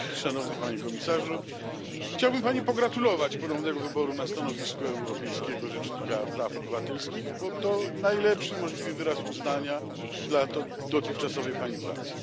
Szanowna Pani Rzecznik! Chciałbym Pani pogratulować ponownego wyboru na stanowisko Europejskiego Rzecznika Praw Obywatelskich, bo to najlepszy możliwy wyraz uznania dla dotychczasowej Pani pracy.